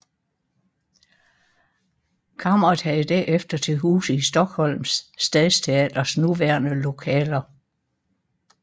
Kammeret havde derefter til huse i Stockholms stadsteaters nuværende lokaler